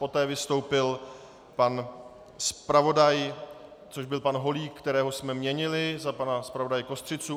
Poté vystoupil pan zpravodaj, což byl pan Holík, kterého jsme měnili za pana zpravodaje Kostřicu.